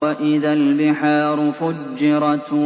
وَإِذَا الْبِحَارُ فُجِّرَتْ